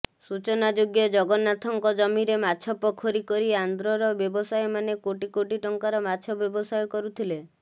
ସୂଚନାଯୋଗ୍ୟ ଜଗନ୍ନାଥଙ୍କ ଜମିରେ ମାଛ ପୋଖରୀ କରି ଆନ୍ଧ୍ରର ବ୍ୟବସାୟୀମାନେ କୋଟି କୋଟି ଟଙ୍କାର ମାଛ ବ୍ୟବସାୟ କରୁଥିଲେ